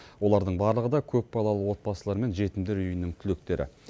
олардың барлығы да көпбалалы отбасы мен жетімдер үйінің түлектері